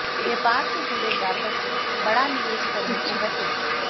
व्यापार से जुड़े जातक बड़ा निवेश करने से बचें